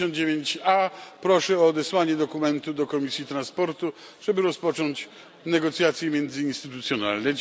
59a proszę o odesłanie dokumentu do komisji transportu, żeby rozpocząć negocjacje międzyinstytucjonalne.